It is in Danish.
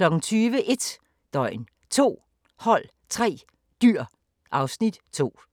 20:00: 1 døgn, 2 hold, 3 dyr (Afs. 2)